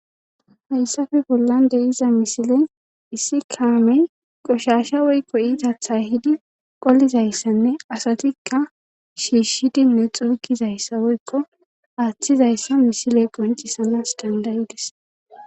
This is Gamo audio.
hayssafe bollan deyiza misile issi kaamey qoshasha woykko iitathay hidi qolizayssanne asatikka shiishshidinne xuukizayssa woykko aaththizayssa misile qoncisanas dandayides